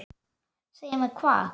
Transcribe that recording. Segja mér hvað?